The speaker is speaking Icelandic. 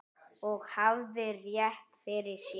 Og hafði rétt fyrir sér.